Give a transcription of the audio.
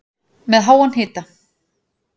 Með háan hita